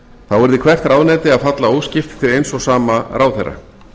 þá yrði hvert ráðuneyti að falla óskipt til eins og sama ráðherra